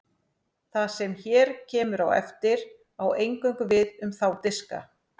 það sem hér kemur á eftir á eingöngu við um þá diska